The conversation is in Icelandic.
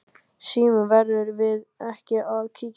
Símon: Verðum við ekki að kíkja inn?